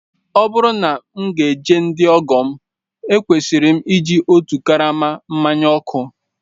Ọ bụrụ na m ga-eje ndị ọgọ m, ekwesịrị m iji otu karama mmanya ọkụ